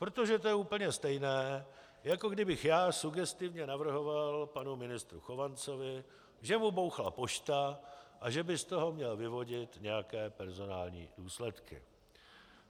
Protože to je úplně stejné, jako kdybych já sugestivně navrhoval panu ministru Chovancovi, že mu bouchla pošta a že by z toho měl vyvodit nějaké personální důsledky.